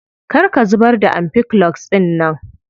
Kar ka zubar da ampiclox dinnan.